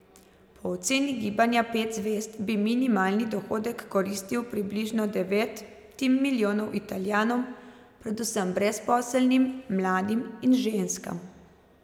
Po oceni gibanja Pet zvezd bi minimalni dohodek koristil približno devetim milijonom Italijanom, predvsem brezposelnim, mladim in ženskam.